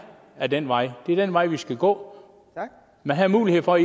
ad den vej det er den vej vi skal gå man havde mulighed for